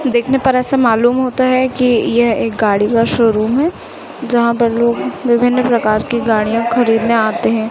देखने पर ऐसा मालूम होता है कि यह एक गाड़ी का शोरूम है जहां पर लोग विभिन्न प्रकार की गाड़ियां खरीदने आते हैं।